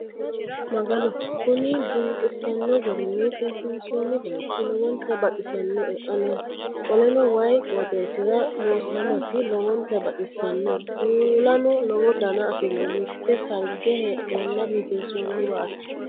Magano! Kuni diniqisanno garinni seesinsoonni bayiichi lowonta baxisinoe ane. Qoleno wayii qooxessira loosamasi lowonta baxissano. Kuulano lowo dana afirino. Mite sarge heedhenna biifinsoonniwati.